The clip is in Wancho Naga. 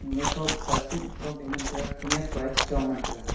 mafoh plastic fohle ngan taiga khenyak pae chichong ngan taiga.